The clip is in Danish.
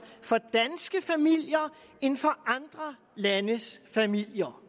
for danske familier end for andre landes familier